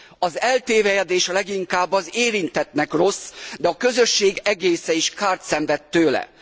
Az eltévelyedés leginkább az érintettnek rossz, de a közösség egésze is kárt szenved tőle.